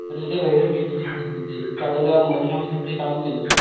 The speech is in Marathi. आणि एकदा मेहनत घेतलीस तिथं चांगलं मन लावून तिथे काम केलस,